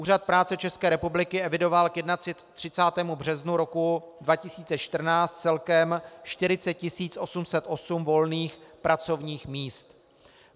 Úřad práce České republiky evidoval k 31. březnu 2014 celkem 40 808 volných pracovních míst.